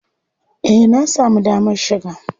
Eh na samu damar shiga.